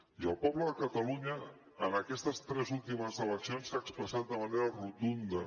i el poble de catalunya en aquestes tres últimes eleccions s’ha expressat de manera rotunda